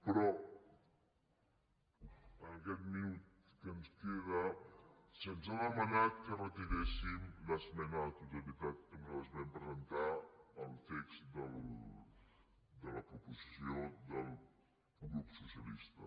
però en aquest minut que ens queda se’ns ha demanat que retiréssim l’esmena a la totalitat que nosaltres vam presentar al text de la proposició del grup socialista